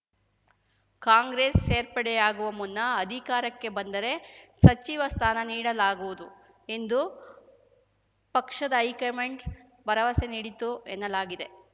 ಕಾಂಗ್ರೆಸ್‌ ಸೇರ್ಪಡೆಯಾಗುವ ಮುನ್ನ ಅಧಿಕಾರಕ್ಕೆ ಬಂದರೆ ಸಚಿವ ಸ್ಥಾನ ನೀಡಲಾಗುವುದು ಎಂದು ಪಕ್ಷದ ಹೈಕಮಾಂಡ್‌ ಭರವಸೆ ನೀಡಿತ್ತು ಎನ್ನಲಾಗಿದೆ